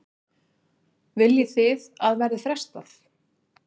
Viljið þið að verði frestað?